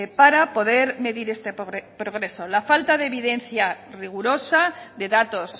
para poder medir este progreso la falta de evidencia rigurosa de datos